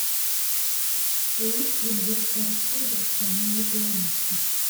лист венгерская рапсодия в исполнении пианиста